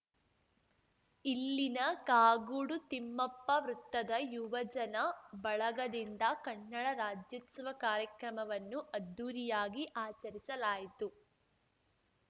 ಇಲ್ಲಿನ ಕಾಗೋಡು ತಿಮ್ಮಪ್ಪ ವೃತ್ತದ ಯುವಜನ ಬಳಗದಿಂದ ಕನ್ನಡ ರಾಜ್ಯೋತ್ಸವ ಕಾರ್ಯಕ್ರಮವನ್ನು ಅದ್ಧೂರಿಯಾಗಿ ಆಚರಿಸಲಾಯಿತು